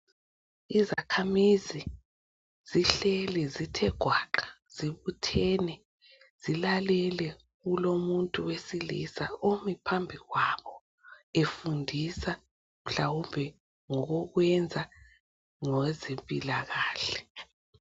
izakahamizi zihleli zithe gwaqa zibuthene zilalele umuntu wesilisa umi phambi kwabo efundisa mhlawumbe ngokwenza ngezempilakahle